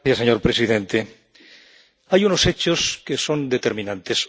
Señor presidente, hay unos hechos que son determinantes.